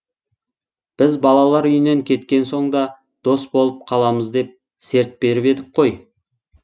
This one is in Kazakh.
біз балалар үйінен кеткен соң да дос болып қаламыз деп серт беріп едік қой